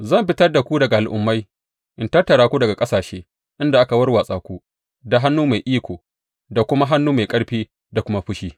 Zan fitar da ku daga al’ummai in tattara ku daga ƙasashe inda aka warwatsa ku, da hannu mai iko da kuma hannu mai ƙarfi da kuma fushi.